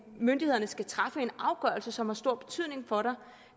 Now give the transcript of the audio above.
myndighederne skal træffe en afgørelse som har stor betydning for